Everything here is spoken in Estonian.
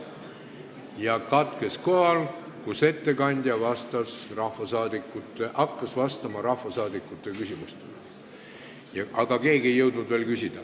See katkes kohal, kus ettekandja hakkas vastama rahvasaadikute küsimustele, aga keegi ei jõudnud veel küsida.